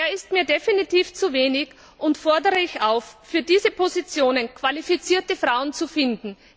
Der ist mir definitiv zu niedrig, und ich fordere dazu auf, für diese Positionen qualifizierte Frauen zu finden.